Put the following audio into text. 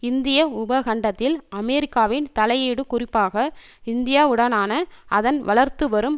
இந்திய உபகண்டத்தில் அமெரிக்காவின் தலையீடு குறிப்பாக இந்தியாவுடனான அதன் வளர்த்துவரும்